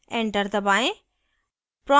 enter दबाएं